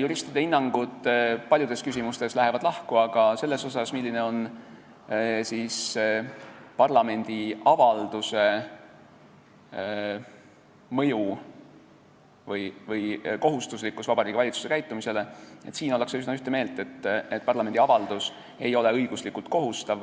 Juristide hinnangud lähevad paljudes küsimustes lahku, aga selles, milline on parlamendi avalduse mõju või kui kohustuslik on see Vabariigi Valitsusele, ollakse üsna ühte meelt: parlamendi avaldus ei ole valitsusele õiguslikult kohustav,